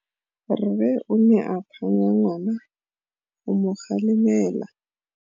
Rre o ne a phanya ngwana go mo galemela.